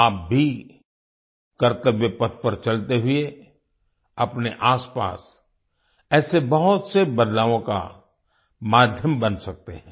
आप भी कर्तव्य पथ पर चलते हुए अपने आसपास ऐसे बहुत से बदलावों का माध्यम बन सकते हैं